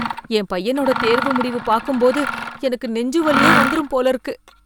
என் பையனோட தேர்வு முடிவு பார்க்கும்போது எனக்கு நெஞ்சுவலியே வந்துரும் போல இருக்கு